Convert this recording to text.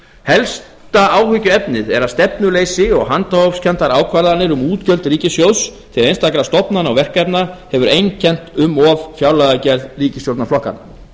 helsta áhyggjuefnið er að stefnuleysi og handahófskenndar ákvarðanir um útgjöld ríkissjóðs til einstakra stofnana og verkefna hefur einkennt um of fjárlagagerð ríkisstjórnarflokkanna